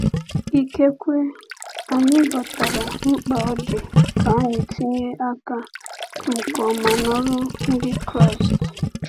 Ikekwe anyị ghọtara mkpa ọ dị ka anyị tinye aka nke ọma n’ọrụ Ndị Kraịst.